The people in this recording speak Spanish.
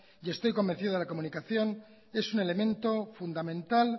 y estoy convencido que la comunicación es un elemento fundamental